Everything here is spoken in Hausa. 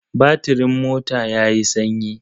Batirin mota ya yi sanyi.